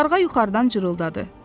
Qarğa yuxarıdan cırıldadı.